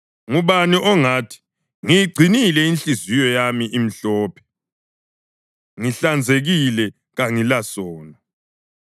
Ngubani ongathi, “Ngiyigcinile inhliziyo yami imhlophe; ngihlanzekile kangilasono?”